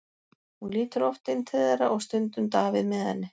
Hún lítur oft inn til þeirra og stundum Davíð með henni.